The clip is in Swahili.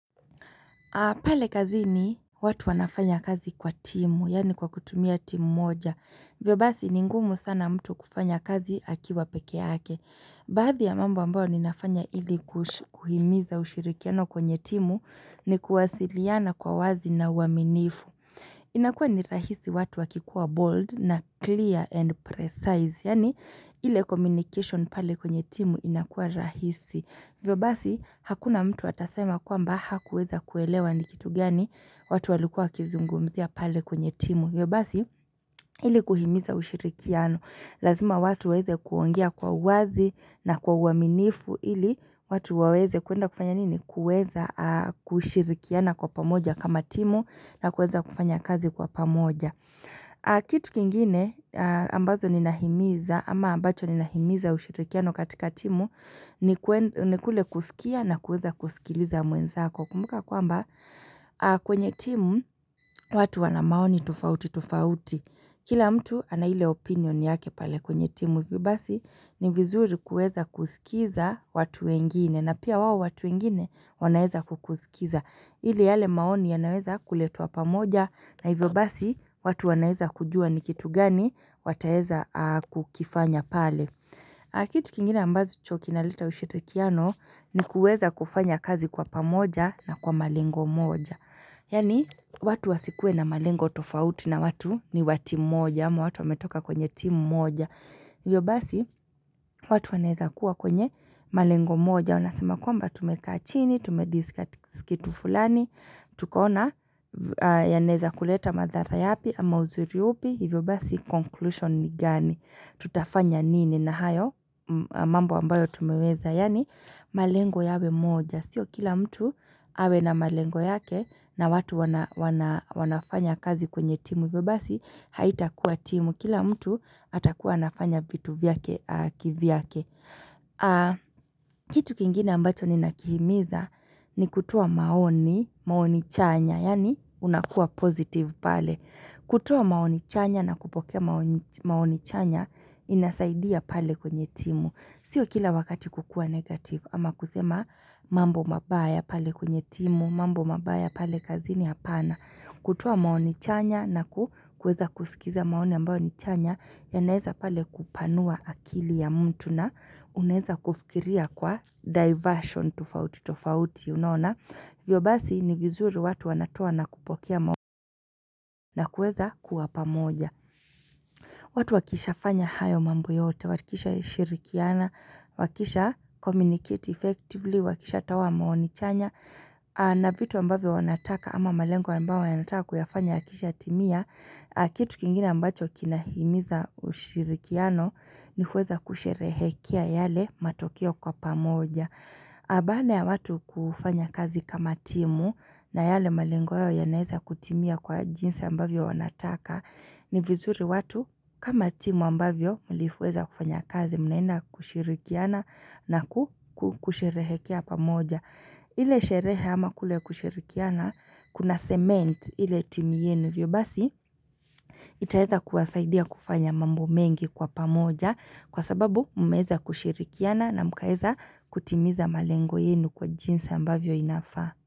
Pale kazini watu wanafanya kazi kwa timu, yani kwa kutumia timu moja. Ndiyo basi ni ngumu sana mtu kufanya kazi akiwa peke yake. Baadhi ya mambo ambao ninafanya ili kuhimiza ushirikiano kwenye timu ni kuwasiliana kwa wazi na uaminifu. Inakuwa ni rahisi watu wakikuwa bold na clear and precise, yani ile communication pale kwenye timu inakuwa rahisi. Ndivyo basi hakuna mtu atasema kwamba hakuweza kuelewa ni kitu gani watu walikuwa kizungumzia pale kwenye timu. Ndivyo basi ili kuhimiza ushirikiano. Lazima watu waweze kuongea kwa uwazi na kwa uaminifu ili watu waweze kuenda kufanya nini? Kuweza kushirikiana kwa pamoja kama timu na kuweza kufanya kazi kwa pamoja. Kitu kingine ambazo ninahimiza ama ambacho ninahimiza ushirikiano katika timu ni ni kule kusikia na kueza kusikiliza mwenzako kumbuka kwamba kwenye timu watu wana maoni tofauti tofauti Kila mtu ana ile opinion yake pale kwenye timu hivyo basi ni vizuri kuweza kusikiza watu wengine na pia wao watu wengine wanaeza kukusikiza ile yale maoni yanaweza kuletwa pamoja na hivyo basi watu wanaweza kujua ni kitu gani wataeza kukifanya pale. Kitu kingine ambacho kinaleta ushirikiano ni kuweza kufanya kazi kwa pamoja na kwa malengo moja. Yani watu wasikuwe na malengo tofauti na watu ni wa timu moja, ama watu wametoka kwenye timu moja. Hivyo basi, watu wanaweza kuwa kwenye malengo moja Unasema kwamba tumekaa chini, tume discuss fulani Tukaona, yanaeza kuleta mathara yapi ama uzuri upi Hivyo basi, conclusion ni gani Tutafanya nini na hayo mambo ambayo tumeweza Yani malengo yawe moja Sio kila mtu awe na malengo yake na watu wanafanya kazi kwenye timu Hivyo basi, haita kuwa timu Kila mtu atakuwa anafanya vitu vyake, kivyake. Kitu kingine ambacho ninakihimiza ni kutoa maoni, maoni chanya. Yani unakuwa positive pale. Kutoa maoni chanya na kupokea maoni chanya inasaidia pale kwenye timu. Sio kila wakati kukuwa negative ama kusema mambo mabaya pale kwenye timu, mambo mabaya pale kazini hapana. Kutoa maoni chanya na kueza kusikiza maoni ambao ni chanya yanaweza pale kupanua akili ya mtu na unaweza kufikiria kwa diversion tofauti tofauti unona. Ndivyo basi ni vizuri watu wanatoa na kupokea maoni na kueza kuwa pamoja. Watu wakishafanya hayo mambo yote, wakishashirikiana, wakisha communicate effectively, wakishatoa maoni chanya. Na vitu ambavyo wanataka ama malengo ambayo wanataka kuyafanya akisha timia Kitu kingina ambacho kinahimiza ushirikiano ni huweza kusherehekia yale matokeo kwa pamoja na baada ya watu kufanya kazi kama timu na yale malengo yao yanweza kutimia kwa jinsi ambavyo wanataka ni vizuri watu kama timu ambavyo mliweza kufanya kazi mnaenda kushirikiana na kusherehekea pamoja ile sherehe ama kule kushirikiana, kuna cement ile timu yenyu hivyo basi, itaweza kuwasaidia kufanya mambo mengi kwa pamoja kwa sababu mmeza kushirikiana na mkaeza kutimiza malengo yenyu kwa jinsa ambavyo inafaa.